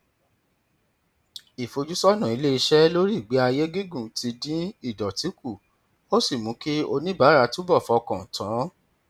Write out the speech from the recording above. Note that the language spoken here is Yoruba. ìfojúsọnà iléiṣẹ lórí ìgbé ayé gígùn ti dín ìdọtí kù ó sì mú kí oníbàárà túbọ fọkàn tán